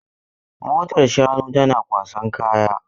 Motar shanu tana kwasan kaya.